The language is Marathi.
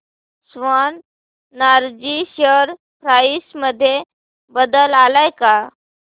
स्वान एनर्जी शेअर प्राइस मध्ये बदल आलाय का